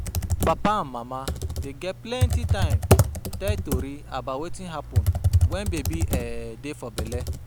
Papa and mama dey get plenty time tell tori about wetin happun wen baby um dey for belle.